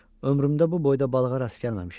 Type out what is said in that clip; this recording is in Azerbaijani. Ömrümdə bu boyda balığa rast gəlməmişəm.